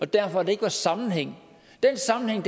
derfor ikke var sammenhæng den sammenhæng